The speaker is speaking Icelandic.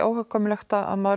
óhjákvæmilegt að maður